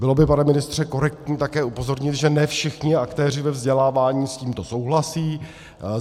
Bylo by, pane ministře, korektní také upozornit, že ne všichni aktéři ve vzdělávání s tímto souhlasí.